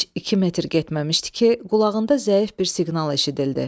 Heç iki metr getməmişdi ki, qulağında zəif bir siqnal eşidildi.